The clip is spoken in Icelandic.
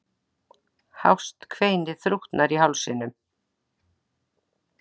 Hást kveinið þrútnar í hálsinum.